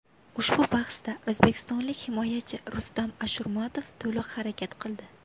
Ushbu bahsda o‘zbekistonlik himoyachi Rustam Ashurmatov to‘liq harakat qildi.